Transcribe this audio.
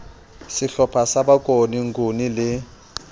sehlopha sa bokone nguni le